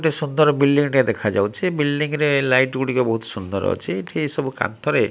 ଗୋଟେ ସୁନ୍ଦର ବିଲଡିଂ ଟେ ଦେଖା ଯାଉଛି ବିଲଡିଂ ରେ ଲାଇଟ୍ ଗଡିକ ବହୁତ ସୁନ୍ଦର ଅଛି ଏଠି ସଭବ କାନ୍ଥ ରେ --